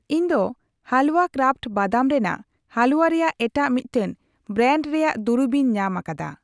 ᱤᱧ ᱫᱚ ᱦᱟᱞᱣᱟ ᱠᱨᱟᱯᱷᱴ ᱵᱟᱫᱟᱢ ᱨᱮᱱᱟᱜ ᱦᱟᱞᱩᱣᱟ ᱨᱮᱭᱟᱜ ᱮᱴᱟᱜ ᱢᱤᱫᱴᱟᱝ ᱵᱨᱟᱱᱰ ᱨᱮᱭᱟᱜ ᱫᱩᱨᱤᱵᱤᱧ ᱧᱟᱢ ᱟᱠᱟᱫᱟ ᱾